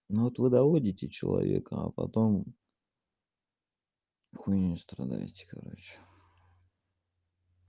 ну вот вы доводите человека а потом хуйней не страдаете короче